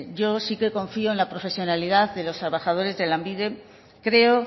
yo sí que confío en la profesionalidad de los trabajadores de lanbide creo